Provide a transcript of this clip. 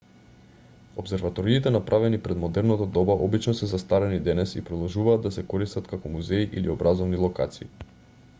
опсерваториите направени пред модерното доба обично се застарени денес и продолжуваат да се користат како музеи или образовни локации